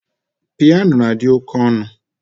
Piano na-adị oké ọnụ